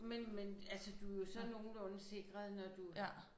Men men altså du er jo så nogenlunde sikret når du